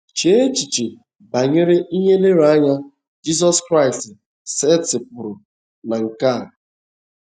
Chee echiche banyere ihe nlereanya Jizọs Kraịst setịpụrụ na nke a..